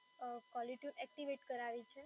અમ caller tune activate કરાવી છે